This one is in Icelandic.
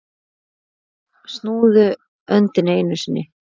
Snúðu öndinni einu sinni.